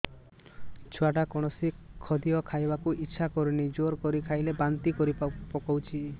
ଛୁଆ ଟା କୌଣସି ଖଦୀୟ ଖାଇବାକୁ ଈଛା କରୁନାହିଁ ଜୋର କରି ଖାଇଲା ବାନ୍ତି କରି ପକଉଛି